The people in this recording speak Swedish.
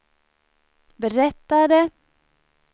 berättade